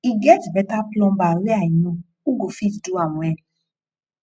e get beta plumber wey i know who go fit do am well